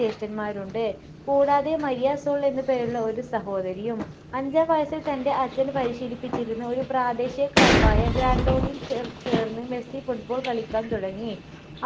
ജ്യേഷ്ഠന്മാരുണ്ട് കൂടാതെ Maria Sol എന്നു പേരുള്ള ഒരു സഹോദരിയും അഞ്ചാം വയസ്സിൽ തൻ്റെ അച്‌ഛൻ പരിശീലിപ്പിച്ചിരുന്ന ഒരു പ്രാദേശിക club ആയ ഗ്രൻഡോളിയിൽ ചെ ചേർന്ന് മെസ്സി football കളിക്കാൻ തുടങ്ങി